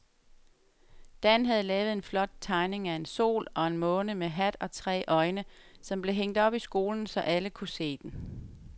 Dan havde lavet en flot tegning af en sol og en måne med hat og tre øjne, som blev hængt op i skolen, så alle kunne se den.